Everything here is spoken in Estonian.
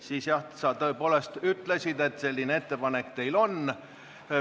Siis sa jah tõepoolest ütlesid, et selline ettepanek teil on.